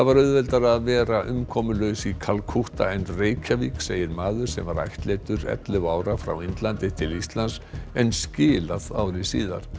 auðveldara að vera umkomulaus í Kalkútta en í Reykjavík segir maður sem ættleiddur ellefu ára frá Indlandi til Íslands en skilað ári síðar